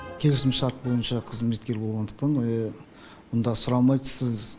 келісімшарт бойынша қызметкер болғандықтан мұнда сұрамайды сіз